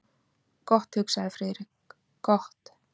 Gott, hugsaði Friðrik, gott.